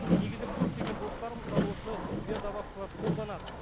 негізі көптеген достарым мысалы осындай биодобавкалар қолданады